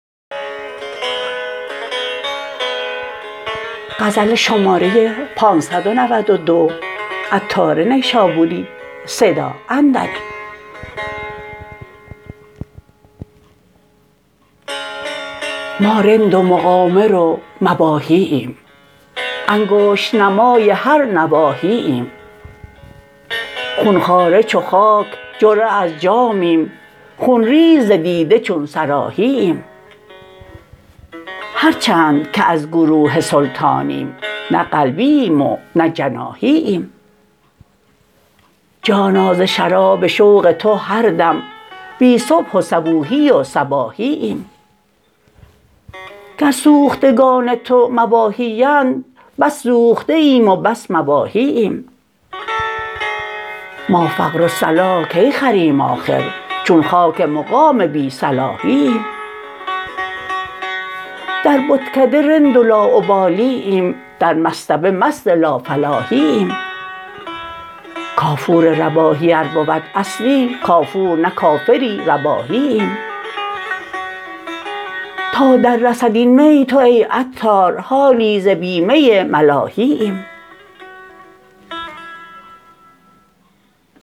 ما رند و مقامر و مباحی ایم انگشت نمای هر نواحی ایم خون خواره چو خاک جرعه از جامیم خون ریز ز دیده چون صراحی ایم هر چند که از گروه سلطانیم نه قلبی ایم و نه جناحی ایم جانا ز شراب شوق تو هر دم بی صبح و صبوحی و صباحی ایم گر سوختگان تو مباحی اند بس سوخته ایم و بس مباحی ایم ما فقر و صلاح کی خریم آخر چون خاک مقام بی صلاحی ایم در بتکده رند و لاابالی ایم در مصطبه مست لافلاحی ایم کافور رباحی ار بود اصلی کافور نه کافری رباحی ایم تا در رسد این می تو ای عطار حالی ز بی می ملاحی ایم